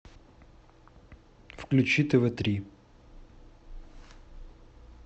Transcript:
включи тв три